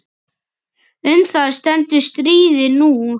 Um það stendur stríðið nú.